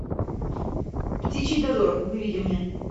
птичий дозор выведи мне